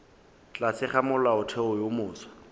tlase ga molaotheo wo mofsa